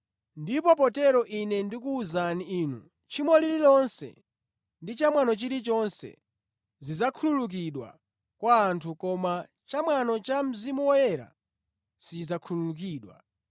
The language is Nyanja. Ndipo potero Ine ndikuwuzani inu, tchimo lililonse ndi cha mwano chilichonse zidzakhululukidwa kwa anthu koma chamwano cha pa Mzimu Woyera, sichidzakhululukidwa.